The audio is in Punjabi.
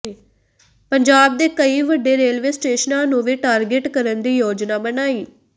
ਪੰਜਾਬ ਦੇ ਕਈ ਵੱਡੇ ਰੇਲਵੇ ਸਟੇਸ਼ਨਾਂ ਨੂੰ ਵੀ ਟਾਰਗੇਟ ਕਰਨ ਦੀ ਯੋਜਨਾ ਬਣਾਈ